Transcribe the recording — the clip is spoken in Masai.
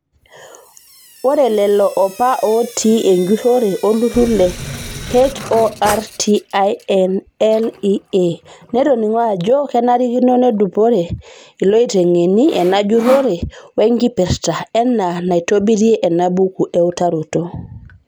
Ore lelo apa otii enjurore oltururl le HORTINLEA netoning'o ajo kenarikino nedupare iloitengeni enajurore wenkipirta enaa naitobirie enabuku eutaroto.